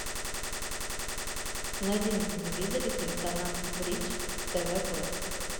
найди на телевизоре телеканал бридж тв классик